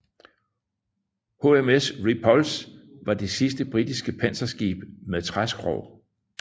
HMS Repulse var det sidste britiske panserskib med træskrog